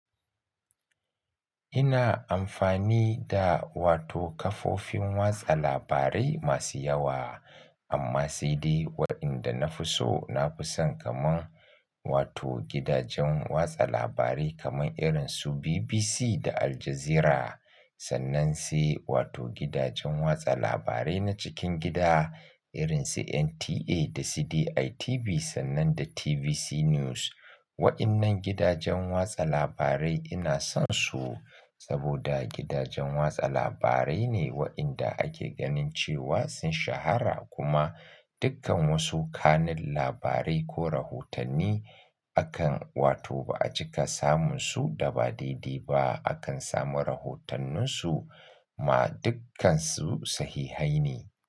Ina amfani da wato kafofin watsa labarai masu yawa, amma sai dai waɗanda na fi so, na fi son kaman wato gidajen watsa labarai kamar irin su BBC da Al Jazeera, sannan sai wato gidajen watsa labarai na cikin gida irin su NTA da sai ditv sannan da TVC News. Waɗannan gidajen watsa labarai ina son su saboda gidajen watsa labarai ne waɗanda ake ganin cewa sun shahara kuma dukkan wasu kanun labarai ko rahotanni akan wato ba a cika samun su daba daidai ba. Akan samu rahotanninsu ma dukkansu sahihaine.